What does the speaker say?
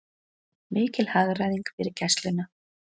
Mikil hagræðing fyrir Gæsluna